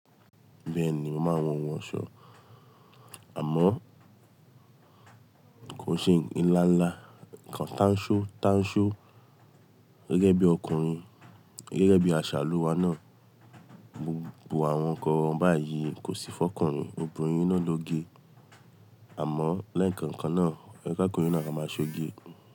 Bẹ́ẹ̀ni, mo máa wọ ohun ọ̀ṣọ́, àmọ́ kò ṣe ńlá ńlá. Ǹkan tánṣó tánṣó gẹ́gẹ́ bí ọkùnrin, gẹ́gẹ́ bí aṣàlú wa náà gbogbo àwọn nǹkan báyìí kò sí fọ́kùnrin, obìnrin náà ló gé. Àmọ́ l'ẹ́ẹ̀kan kan náà, oye k'okùnrin na ka máa ṣe ó gé.